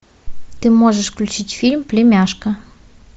ты можешь включить фильм племяшка